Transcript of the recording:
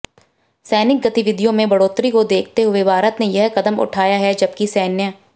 सैनिक गतिविधियों में बढ़ोत्तरी को देखते हुए भारत ने यह कदम उठाया है जबकि सैन्य